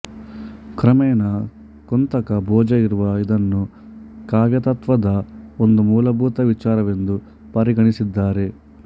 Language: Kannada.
ಕ್ರಮೇಣ ಕುಂತಕ ಭೋಜ ಇವರು ಇದನ್ನು ಕಾವ್ಯತತ್ತ್ವದ ಒಂದು ಮೂಲಭೂತ ವಿಚಾರವೆಂದು ಪರಿಗಣಿಸಿದ್ದಾರೆ